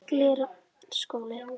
Glerárskóli